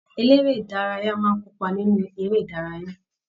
Eléré ìdárayá máa n kópa nínú eré ìdárayá.